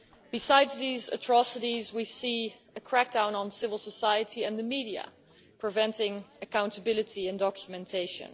Besides these atrocities, we see a crackdown on civil society and the media, preventing accountability and documentation.